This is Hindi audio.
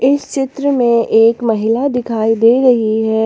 इस चित्र में एक महिला दिखाई दे रही है।